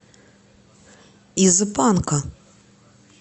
из банка